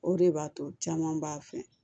O de b'a to caman b'a fɛ